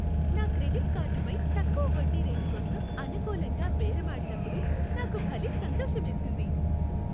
నా క్రెడిట్ కార్డుపై తక్కువ వడ్డీ రేటుకోసం అనుకూలంగా బేరమాడినప్పుడు నాకు భలే సంతోషమేసింది.